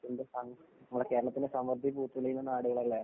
അതിന്‍റെ ഭംഗി, കേരളത്തിന്‍റെ സമൃദ്ധി പൂത്തുലയുന്ന നാടുകളല്ലേ?